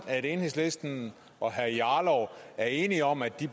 at enhedslisten og herre jarlov er enige om at de